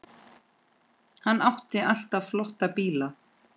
Hann átti alltaf flotta bíla.